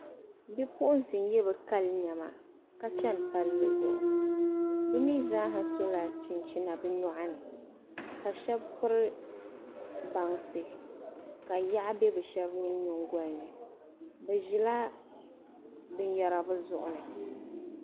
Bipuɣunsi n yɛ bi kali niɛma ka chɛni palli zuɣu bi mii zaa sola chinchina bi nyoɣani ka shab piri bansi ka yaɣu bɛ bi shab mii nyingoli ni bi ʒila binyɛra bi zuɣu ni